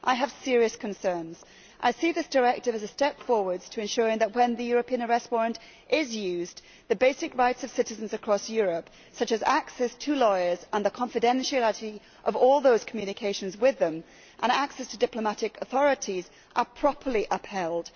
I have serious concerns and see this directive as a step forward towards ensuring that, when the European arrest warrant is indeed used, the basic rights of citizens across Europe, such as access to lawyers, the confidentiality of all communications with them and access to diplomatic authorities, are properly upheld.